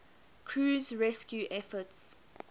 crew's rescue efforts